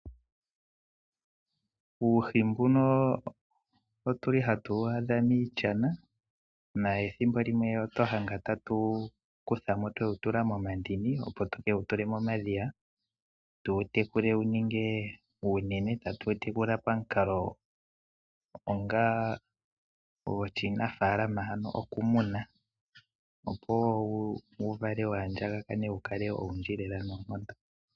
Uuhi mbuno otuli hatuwu adha miishana na ethimbo limwe otwaadha twewu kutha mo twewu tula momandini tukewu tule momadhiya, tuwu tekule wuninge uunene. Tatuwu tekula pamukalo onga goshinafaalama ano okumuna opo wuvale waandjakane wukale owundji lela noonkondo.